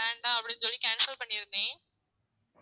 வேண்டாம் அப்படின்னு சொல்லி cancel பண்ணி இருந்தேன்